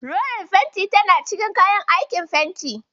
Rolar fenti tana cikin kayan aikin fenti.